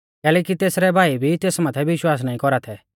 कैलैकि तेसरै भाई भी तेस माथै विश्वास नाईं कौरा थै